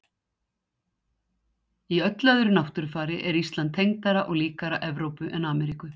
Í öllu öðru náttúrufari er Ísland tengdara og líkara Evrópu en Ameríku.